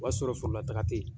O b'a sɔrɔ foro la taga te yen.